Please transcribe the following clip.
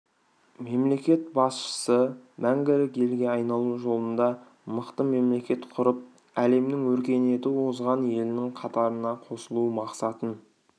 мемлекет басшысы мәңгілік елге айналу жолында мықты мемлекет құрып әлемнің өркениеті озған елінің қатарына қосылу мақсатын